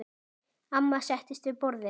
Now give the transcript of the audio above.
Amma settist við borðið.